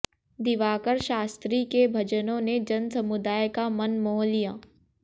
दिवाकर शास्त्री के भजनों ने जनसमुदाय का मन मोह लिया